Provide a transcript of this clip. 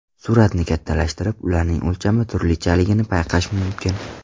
Suratni kattalashtirib, ularning o‘lchami turlichaligini payqash mumkin.